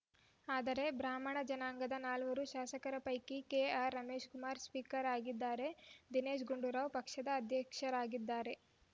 ಆದರೆ ಬ್ರಾಹ್ಮಣ ಜನಾಂಗದ ನಾಲ್ವರು ಶಾಸಕರ ಪೈಕಿ ಕೆಆರ್‌ ರಮೇಶ್‌ಕುಮಾರ್‌ ಸ್ಪೀಕರ್‌ ಆಗಿದ್ದಾರೆ ದಿನೇಶ್‌ ಗುಂಡೂರಾವ್‌ ಪಕ್ಷದ ಅಧ್ಯಕ್ಷರಾಗಿದ್ದಾರೆ